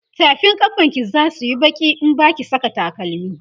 tafin kafan ki zasuyi Baki in Baki Saka takalami